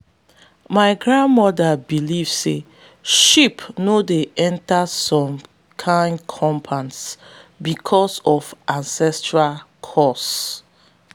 my grandmama believe say sheep no dey enter some kin compounds because of ancestral curse.